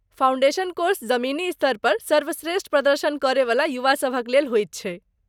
Foundation course जमीनी स्तरपर सर्वश्रेष्ठ प्रदर्शन करयवला युवा सभक लेल होइत छै।